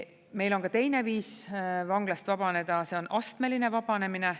Meil on ka teine viis vanglast vabaneda, see on astmeline vabanemine.